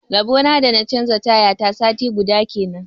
Rabona da na canja taya ta sati guda kenan.